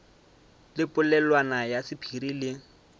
le polelwana ya sephiri le